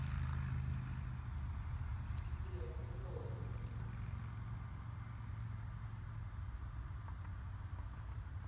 сбер зои